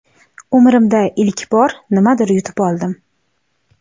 Umrimda ilk bor nimadir yutib oldim!